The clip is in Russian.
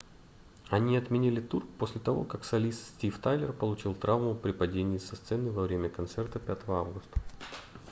они отменили тур после того как солист стив тайлер получил травму при падении со сцены во время концерта 5 августа